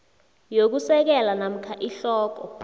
yokusekela namkha ihloko